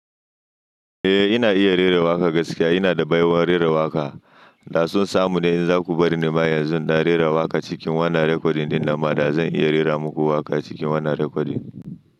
Eh ina iya rera waƙa gaskiya. Ina da baiwar rera waƙa. Da sun samu ne in za ku bari ni ba yanzu, na rera waƙa cikin wannan recording ɗin na ma da zan iya rera muku waƙa cikin wannan recording.